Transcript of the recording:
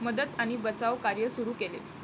मदत आणि बचावकार्य सुरु केले.